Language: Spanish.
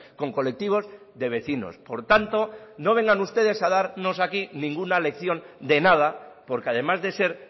con colectivos de vecinos por tanto no vengan ustedes a darnos aquí ninguna lección de nada porque además de ser